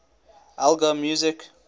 elgar music